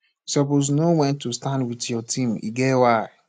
you suppose know wen to stand wit your team e get why